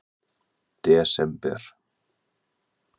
desember